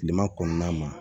Tilema kɔnɔna ma